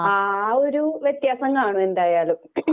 ആ ഒരു വവെത്യാസം കാണും എന്തായാലും.